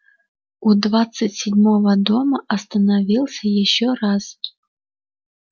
у двадцать седьмого дома остановился ещё раз